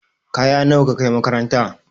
Kaya nawa ka kai makaranta?